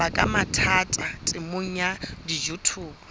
baka mathata temong ya dijothollo